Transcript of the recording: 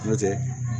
N'o tɛ